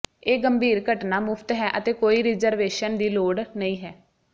ਇਹ ਗੰਭੀਰ ਘਟਨਾ ਮੁਫ਼ਤ ਹੈ ਅਤੇ ਕੋਈ ਰਿਜ਼ਰਵੇਸ਼ਨ ਦੀ ਲੋੜ ਨਹੀਂ ਹੈ